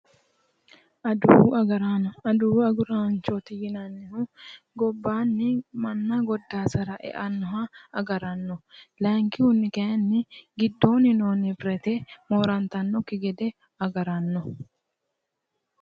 Adawu agarraano, adawu agarranno yinnanihu gobbanni manna godasara eanoha agarano .layinkihunni kayinni giddoni noo nibirate goda'attanokki gede agarano